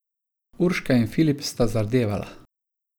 Urška in Filip sta zardevala.